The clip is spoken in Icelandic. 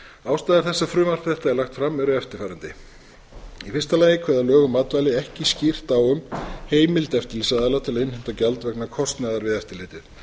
ástæður þess að frumvarp þetta er lagt fram eru eftirfarandi í fyrsta lagi kveða lög um matvæli ekki skýrt á um heimild eftirlitsaðila til að innheimta gjald vegna kostnaðar við eftirlitið